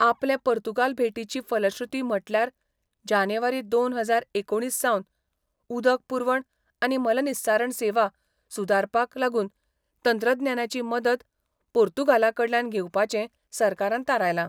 आपले पोर्तुगाल भेटीची फलश्रृती म्हटल्यार जानेवारी दोन हजार एकोणीस सावन उदक पुरवण आनी मलनिस्सारण सेवा सुदारपाक लागून तंत्रज्ञानाची मदत पोर्तुगालाकडल्यान घेवपांचे सरकारान थारायला.